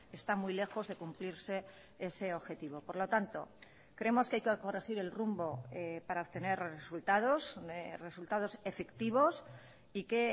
está muy lejos de cumplirse ese objetivo por lo tanto creemos que hay que corregir el rumbo para obtener resultados resultados efectivos y que